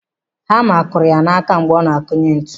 Hama kụrụ ya n'aka mgbe ọ na-akụnye ntu.